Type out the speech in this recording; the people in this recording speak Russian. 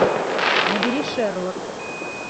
набери шерлок